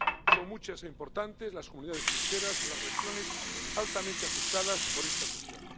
Son muchas e importantes las comunidades pesqueras y las regiones altamente afectadas por esta cuestión.